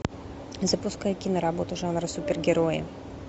запускай киноработу жанра супергерои